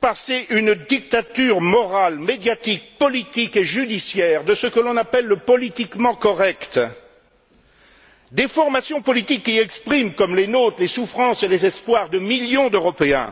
passer une dictature morale, médiatique, politique et judiciaire de ce que l'on appelle le politiquement correct. Des formations politiques qui expriment comme les nôtres les souffrances et les espoirs de millions d'Européens